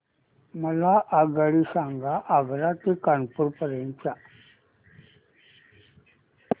मला आगगाडी सांगा आग्रा ते कानपुर पर्यंत च्या